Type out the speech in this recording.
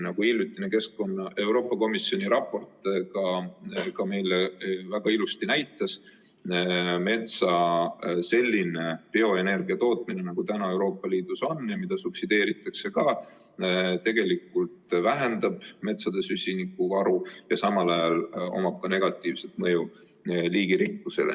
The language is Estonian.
Nagu hiljutine Euroopa Komisjoni raport meile väga ilusti näitas, metsa selline bioenergia tootmine, nagu Euroopa Liidus on ja mida ka subsideeritakse, tegelikult vähendab metsa süsinikuvaru ja samal ajal on sel negatiivne mõju ka liigirikkusele.